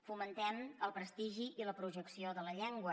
fomentem el prestigi i la projecció de la llengua